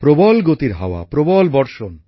প্রবল গতির হাওয়া প্রবল বর্ষণ